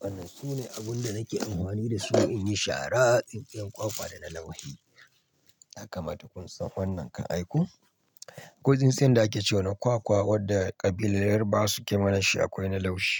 wannan sune abun da nake amfani da su inyi shara, tsintsiyar kwakwa da na laushi. Haka ma duk kun san wannan kan aiko. Ko tsintsiyar da ake cewa na kwakwa wadda kabilar yarbawa suke mana shi akwai na laushi.